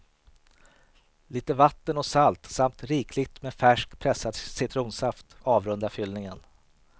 Litet vatten och salt samt rikligt med färsk pressad citronsaft avrundar fyllningen.